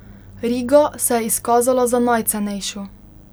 Riga se je izkazala za najcenejšo.